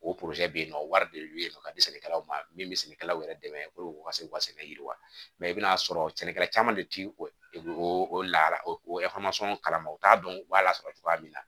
O bɛ yen nɔ wari de bɛ yen nɔ ka di sɛnɛkɛlaw ma min bɛ sɛnɛkɛlaw yɛrɛ dɛmɛ u ka se k'u ka sɛnɛ yiriwa i bɛn'a sɔrɔ sɛnɛkɛla caman de tɛ o la o kalan u t'a dɔn u b'a lasɔrɔ cogoya min na